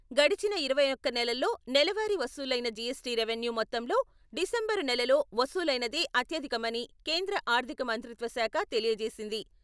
గడచిన ఇరవై ఒక నెలల్లో నెలవారి వసూలైన జీఎస్టీ రెవెన్యూ మొత్తంలో డిసెంబరు నెలలో వసూలైనదే అత్యధికమని కేంద్ర ఆర్థిక మంత్రిత్వ శాఖ తెలియజేసింది.